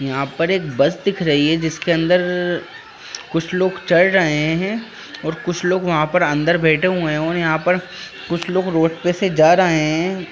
यहाँ पर एक बस दिख रही है जिसके अंदर कुछ लोग चढ़ रहे है और कुछ लोग वहाँ पर अंदर बैठे हुए है और यहाँ पर कुछ लोग रोड पे से जा रहे है।